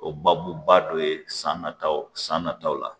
O babuba dɔ ye san nataw san nataw la